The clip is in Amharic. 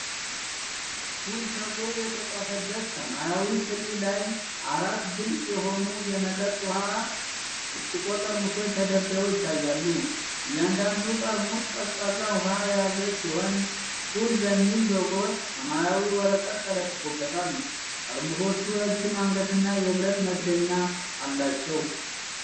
"ኩል" ተብሎ የተጻፈበት ሰማያዊ ትሪ ላይ አራት ግልጽ የሆኑ የመጠጥ ውሃ ብርጭቆ ጠርሙሶች ተደርድረው ይታያሉ። እያንዳንዱ ጠርሙስ ቀዝቃዛ ውሃ የያዘ ሲሆን፣ ኩል በሚል ሎጎ ሰማያዊ ወረቀት ተለጥፎበታል። ጠርሙሶቹ ረጅም አንገትና የብረት መክደኛ አላቸው።